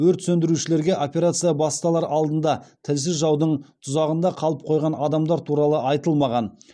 өрт сөндірушілерге операция басталар алдында тілсіз жаудың тұзағында қалып қойған адамдар туралы айтылмаған